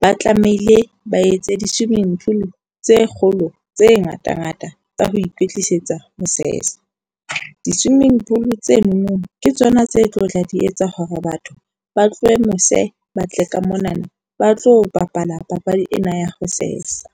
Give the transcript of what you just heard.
ba tlamehile ba etse di-swimming pool tse kgolo tse ngata ngata tsa ho ikwetlisetsa ho sesa. Di-swimming pool tsenono ke tsona tse tlotla di etsa hore batho ba tlohe mose ba tle ka monana, ba tlo bapala papadi ena ya ho sesa.